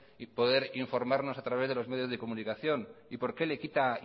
y poder informarnos a través de los medios de comunicación y por qué le quita